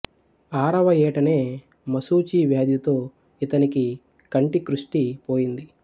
ఆరవ ఏటనే మశూచి వ్యాధితో ఇతనికి కంటి కృష్టి పోయింది